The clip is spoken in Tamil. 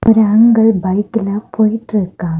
ஏங்கல் பைக்ல போயிட்டு இருக்கா.